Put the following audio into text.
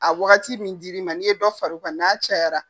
A waati wagati min dil'i ma n'i ye dɔ far'o kan n'a cayayara.